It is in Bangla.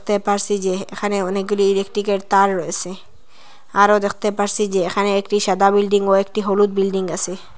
দেখতে পারসি যে এখানে অনেকগুলি ইলেকট্রিকে র তার রয়েসে আরও দেখতে পারসি যে এখানে একটি সাদা বিল্ডিং ও একটি হলুদ বিল্ডিং আসে।